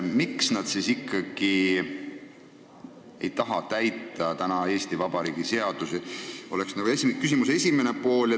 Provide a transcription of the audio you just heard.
Miks nad ikkagi ei taha täita Eesti Vabariigi seadusi, on küsimuse esimene pool.